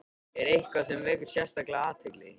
Er eitthvað sem vekur sérstaka athygli?